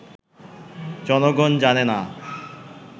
জনগন জানে না